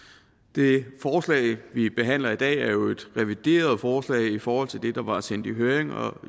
det forslag vi behandler i dag er jo et revideret forslag i forhold til det der var sendt i høring og